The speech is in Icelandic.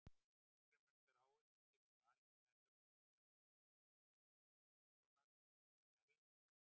Þorgrímur Þráinsson stýrði Val í fjarveru Willums Þórssonar sem er erlendis.